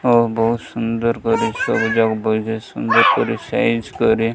ଓ ବହୁତ ସୁନ୍ଦର କରି ସବୁ ଯାଙ୍କୁ ସୁନ୍ଦର କରି ସାଇଜ କରି --